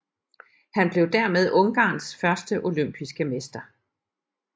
Han blev dermed Ungarns første olympiske mester